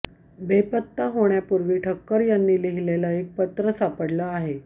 बेपत्ता होण्यापूर्वी ठक्कर यांनी लिहीलेलं एक पत्र सापडलं आहे